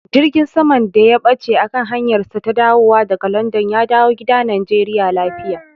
Jirgin saman da ya ɓace a kan hanyarsa ta dawowa daga Landan ya dawo gida Najeriya lafiya.